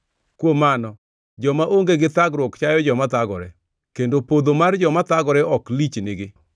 Kuom mano, joma onge gi thagruok chayo joma thagore, kendo podho mar joma thagore ok lichnigi.